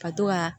Ka to ka